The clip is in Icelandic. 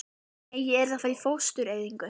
Nei, ég yrði að fara í fóstureyðingu.